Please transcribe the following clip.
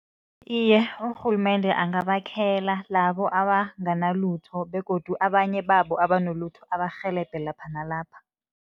Iye, urhulumende angabakhela labo abanganalutho begodu abanye babo abanolutho, abarhelebhe lapha nalapha.